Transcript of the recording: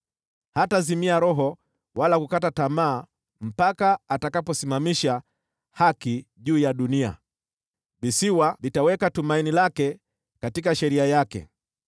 hatazimia roho wala kukata tamaa, mpaka atakaposimamisha haki juu ya dunia. Visiwa vitaweka tumaini lao katika sheria yake.”